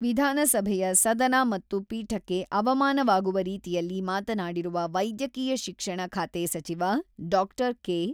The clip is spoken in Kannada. ವಿಧಾನಸಭೆಯ ಸದನ ಮತ್ತು ಪೀಠಕ್ಕೆ ಅವಮಾನವಾಗುವ ರೀತಿಯಲ್ಲಿ ಮಾತನಾಡಿರುವ ವೈದ್ಯಕೀಯ ಶಿಕ್ಷಣ ಖಾತೆ ಸಚಿವ ಡಾಕ್ಟರ್ ಕೆ.